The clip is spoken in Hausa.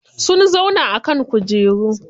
Sun zauna a kan kujeru.